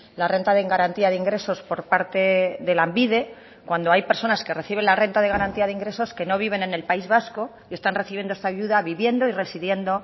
la renta de garantía de ingresos por parte de lanbide cuando hay personas que reciben la renta de garantía de ingresos que no viven en el país vasco y están recibiendo esta ayuda viviendo y residiendo